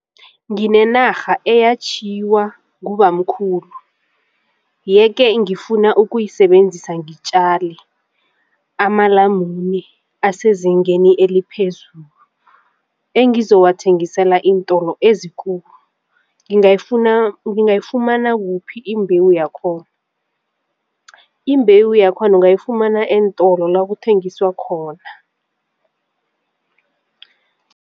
Nginenarha eyatjhiyiwa ngubamkhulu yeke ngifuna ukuyisebenzisa ngitjale amalamune asezingeni eliphezulu engizowathengisela iintolo ezikulu ngangayifumana kuphi imbewu yakhona? Imbewu yakhona ungayifumana eentolo la kuthengiswa khona.